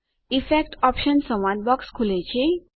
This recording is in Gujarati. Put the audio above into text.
ઇફેક્ટ ઓપ્શન્સ સંવાદ બોક્સ ખુલે છે